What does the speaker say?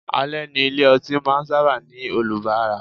Ale ni ilé ọtí máa ń sábà ní olubara.